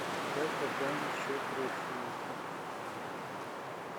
как пополнить счет родственнику